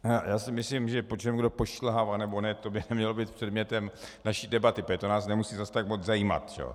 Já si myslím, že po čem kdo pošilhává, nebo ne, to by nemělo být předmětem naší debaty, protože to nás nemusí zase tak moc zajímat.